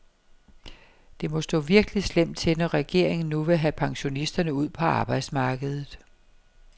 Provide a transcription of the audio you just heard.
Det må stå virkelig slemt til, når regeringen nu vil have pensionisterne ud på arbejdsmarkedet.